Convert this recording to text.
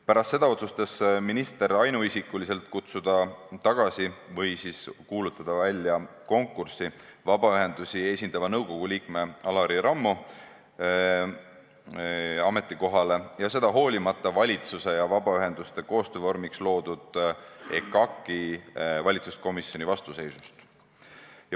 Pärast seda otsustas minister ainuisikuliselt kutsuda tagasi või siis kuulutada välja konkursi vabaühendusi esindava nõukogu liikme Alari Rammo ametikohale – hoolimata valitsuse ja vabaühenduste koostöövormina loodud EKAK-i valitsuskomisjoni vastuseisust.